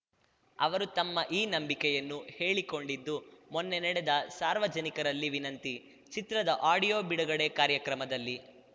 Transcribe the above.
ಅವರು ತಮ್ಮ ಈ ನಂಬಿಕೆಯನ್ನು ಹೇಳಿಕೊಂಡಿದ್ದು ಮೊನ್ನೆ ನಡೆದ ಸಾರ್ವಜನಿಕರಲ್ಲಿ ವಿನಂತಿ ಚಿತ್ರದ ಆಡಿಯೋ ಬಿಡುಗಡೆ ಕಾರ್ಯಕ್ರಮದಲ್ಲಿ